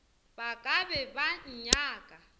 ba ka be ba nnyaka